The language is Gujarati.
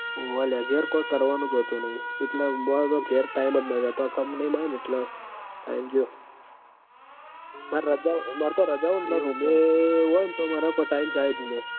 ઓવ લ્યા ઘેર કોય કરવાનું જ હોતું નહીં એટલ માર તો ઘેર time જ નહીં જતો company મ આયો ન એટલ time ગયો માર રજા માર તો રજા હોય ન બે હોય ન તો માર કોય time જાય જ નઈ